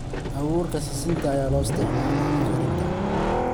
Abuurka sisinta ayaa loo isticmaalaa karinta.